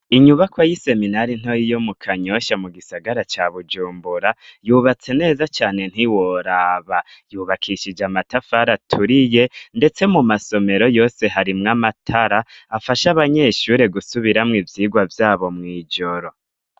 Inyubako y'Iseminari ntoyi yo mu Kanyosha mu gisagara ca Bujumbura, yubatse neza cane ntiworaba! Yubakishije amatafari aturiye, ndetse mu masomero yose harimwo amatara afasha abanyeshure gusubiramo ivyigwa vyabo mw'ijoro.